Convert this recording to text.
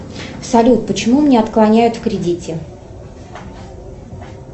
салют почему мне отклоняют в кредите